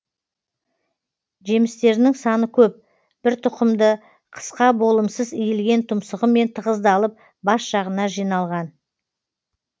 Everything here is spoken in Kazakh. жемстерінің саны көп бір тұқымды қысқа болымсыз иілген тұмсығымен тығыздалып бас жағына жиналған